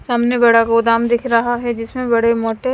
सामने बड़ा गोदाम दिख रहा है जिसमें बड़े मोटे--